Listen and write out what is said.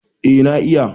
eh na iya